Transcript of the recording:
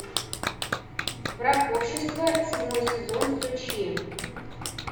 враг общества седьмой сезон включи